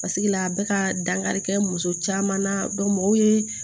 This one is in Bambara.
Paseke la bɛ ka dankari kɛ muso caman na mɔgɔw ye